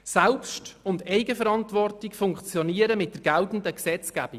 Mit der geltenden Gesetzgebung funktionieren Selbst- und Eigenverantwortung.